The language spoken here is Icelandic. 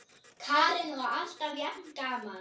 Karen: Og alltaf jafn gaman?